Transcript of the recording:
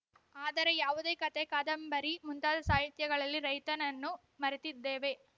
ಆದರೆ ಯಾವುದೇ ಕತೆ ಕಾದಂಬರಿ ಮುಂತಾದ ಸಾಹಿತ್ಯಗಳಲ್ಲಿ ರೈತನನ್ನು ಮರೆತಿದ್ದೇವೆ